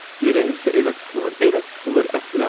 Ürəyim isə elə sıxılır, elə sıxılır, əsirəm.